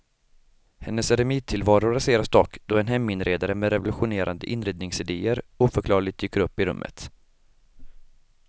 Hennes eremittillvaro raseras dock då en heminredare med revolutionerande inredningsidéer oförklarligt dyker upp i rummet.